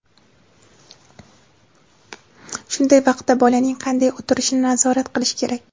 Shunday vaqtda bolaning qanday o‘tirishini nazorat qilish kerak.